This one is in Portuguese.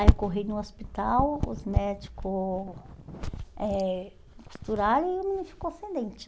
Aí eu corri no hospital, os médico eh costuraram e o menino ficou sem dente.